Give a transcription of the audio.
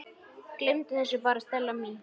Gleymdu þessu bara, Stella mín.